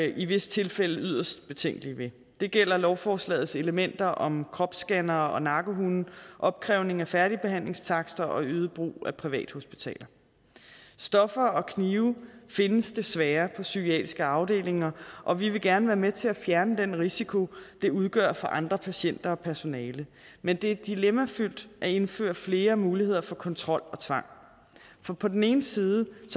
i visse tilfælde yderst betænkelige ved det gælder lovforslagets elementer om kropscannere og narkohunde opkrævning af færdigbehandlingstakster og øget brug af privathospitaler stoffer og knive findes desværre på psykiatriske afdelinger og vi vil gerne være med til at fjerne den risiko det udgør for andre patienter og personale men det er dilemmafyldt at indføre flere muligheder for kontrol og tvang for på den ene side